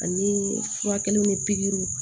Ani furakɛliw ni pikiriw